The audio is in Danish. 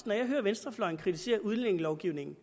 når jeg hører venstrefløjen kritisere udlændingelovgivningen